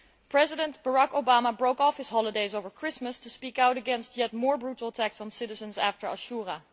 President Barack Obama broke off his holidays over Christmas to speak out against yet more brutal attacks on citizens after Ashura.